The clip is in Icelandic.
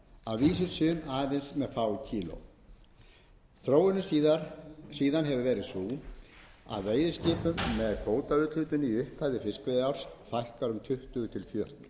að vísu sum með aðeins fá kíló þróunin síðan hefur verið sú að veiðiskipum með kvótaúthlutun í upphafi fiskveiðiárs fækkar um tuttugu til